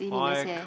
Aeg!